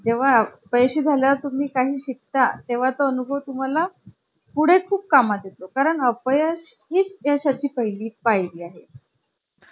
आपला electricity बिलसुद्धा कमी आहे. पण आमच्या नऊ. आणि महाग ज्याचा वर म्हटल्याप्रमाणे की computer laptop ही computer च्या तुलनेमध्ये खूप महाग असतं.